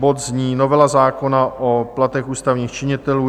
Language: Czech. Bod zní Novela zákona o platech ústavních činitelů.